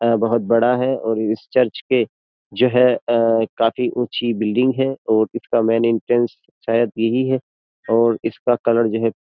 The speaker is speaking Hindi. बहुत बड़ा है और इस चर्च के जो है काफी ऊँची बिल्डिंग है और इसका मेन एंट्रेंस शायद यही है और इसका कलर जो है --